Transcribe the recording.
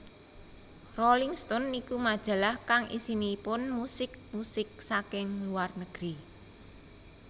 Rolling Stone niku majalah kang isinipun musik musik saking luar negeri